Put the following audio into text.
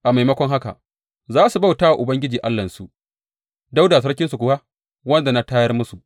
A maimakon haka, za su bauta wa Ubangiji Allahnsu Dawuda sarkinsu kuwa, wanda na tayar musu.